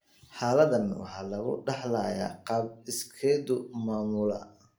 Xaaladdan waxaa lagu dhaxlayaa qaab iskeed u maamula